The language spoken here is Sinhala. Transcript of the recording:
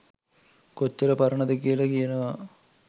කොච්චර පරණද කියල කියනවා.